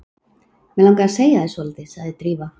Mig langar að segja þér svolítið sagði Drífa.